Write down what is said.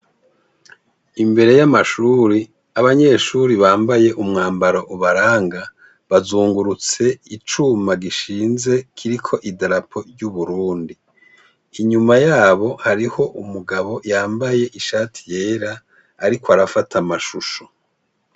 Imbere y'amashuri abanyeshuri bambaye umwambaro ubaranga bazungurutse icuma gishinze kiriko i darapo ry'uburundi inyuma yabo hariho umugabo yambaye ishati yera, ariko arafata amashusho.